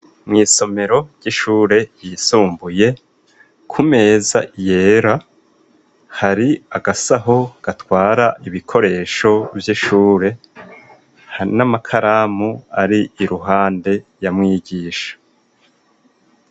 Mw'isomero ry'ishure yisumbuye ku meza yera hari agasaho gatwara ibikoresho vy'ishure n'amakaramu ari iruhande ya mwigisha.